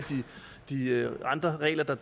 de andre regler der